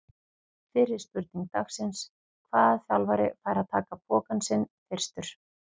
Fyrri spurning dagsins: Hvaða þjálfari fær að taka pokann sinn fyrstur?